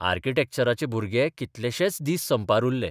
आर्किटॅक्चराचे भुरगे कितलेशेच दीस संपार उरले.